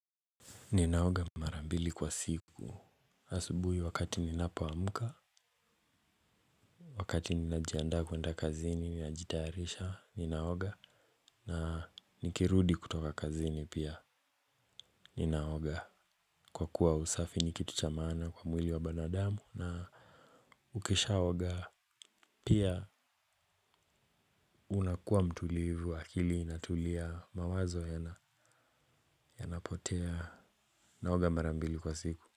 Ninaoga mara mbili kwa siku, asubuhi wakati ninapoamka. Wakati ninajianda kuenda kazini ninajitaharisha, ninaoga na nikirudi kutoka kazini pia. Ninaoga kwa kuwa usafi nikitu cha maana kwa mwili wa binadamu na ukishaoga, pia unakua mtulivu, akili inatulia mawazo yanapotea. Ninaoga mara mbili kwa siku.